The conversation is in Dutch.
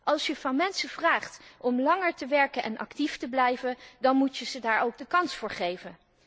Als je van mensen vraagt om langer te werken en actief te blijven, dan moet je hun daar ook de kans voor geven.